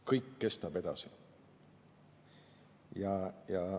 Kõik kestab edasi".